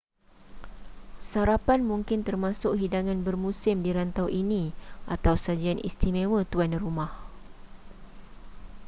sarapan mungkin termasuk hidangan bermusim di rantau ini atau sajian istimewa tuan rumah